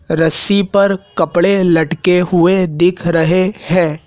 रस्सी पर कपडे लटके हुए दिख रहे हैं।